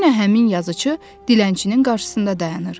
Yenə həmin yazıçı dilənçinin qarşısında dayanır.